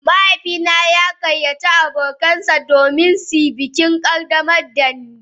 Mahaifina ya gayyaci abokansa don su shaida bikin ƙaddamar da ni.